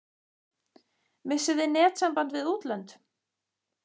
Missum við netsamband við útlönd?